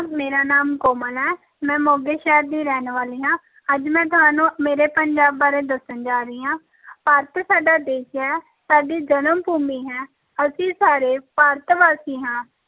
ਮੇਰਾ ਨਾਮ ਕੋਮਲ ਹੈ ਮੈਂ ਮੋਗੇ ਸ਼ਹਿਰ ਦੀ ਰਹਿਣ ਵਾਲੀ ਹਾਂ ਅੱਜ ਮੈਂ ਤੁਹਾਨੂੰ ਮੇਰੇ ਪੰਜਾਬ ਬਾਰੇ ਦੱਸਣ ਜਾ ਰਹੀ ਹਾਂ ਭਾਰਤ ਸਾਡਾ ਦੇਸ ਹੈ, ਸਾਡੀ ਜਨਮ ਭੂਮੀ ਹੈ ਅਸੀਂ ਸਾਰੇ ਭਾਰਤ ਵਾਸੀ ਹਾਂ,